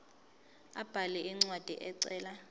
abhale incwadi ecela